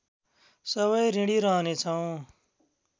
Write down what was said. सबै ऋणी रहने छौँ